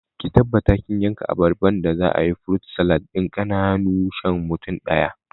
Ki tabbata kin yanka abarban da za'ayi furut salad ɗin ƙananu shan mutum ɗaya